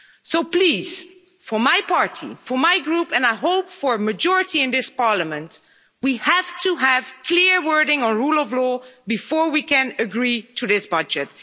So please, for my party, for my group and I hope for a majority in this Parliament we have to have clear wording on rule of law before we can agree to this budget.